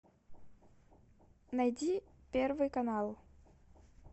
найди первый канал